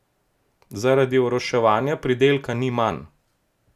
Zaradi oroševanja pridelka ni manj.